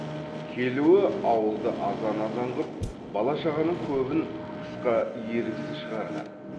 келуі ауылды азан азан қып бала шағаның көбін тысқа еріксіз шығарған